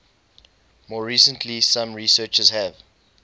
more recently some researchers have